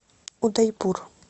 удайпур